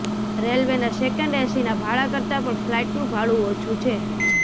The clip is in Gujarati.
રેલવેના સેકન્ડ એસીના ભાડા કરતાં પણ ફ્લાઈટનું ભાડું ઓછું છે